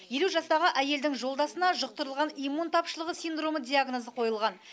елу жастағы әйелдің жолдасына жұқтырылған иммун тапшылығы синдромы диагнозы қойылған